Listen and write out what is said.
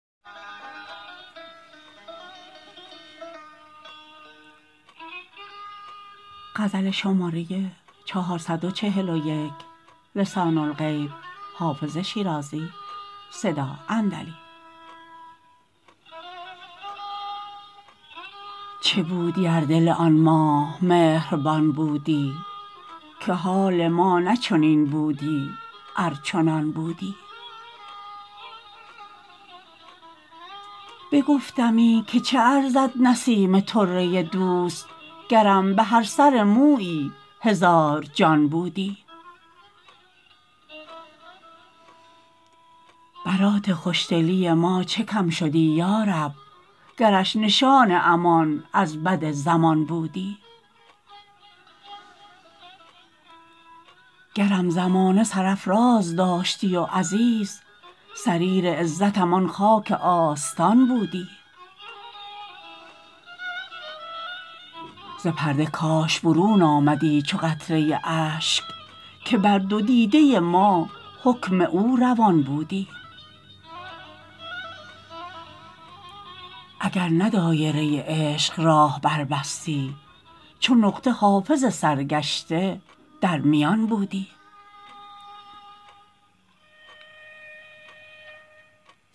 چه بودی ار دل آن ماه مهربان بودی که حال ما نه چنین بودی ار چنان بودی بگفتمی که چه ارزد نسیم طره دوست گرم به هر سر مویی هزار جان بودی برات خوش دلی ما چه کم شدی یا رب گرش نشان امان از بد زمان بودی گرم زمانه سرافراز داشتی و عزیز سریر عزتم آن خاک آستان بودی ز پرده کاش برون آمدی چو قطره اشک که بر دو دیده ما حکم او روان بودی اگر نه دایره عشق راه بربستی چو نقطه حافظ سرگشته در میان بودی